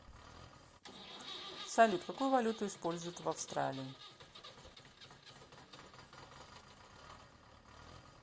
салют какую валюту используют в австралии